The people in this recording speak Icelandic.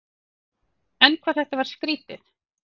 En hvað þetta var skrýtið.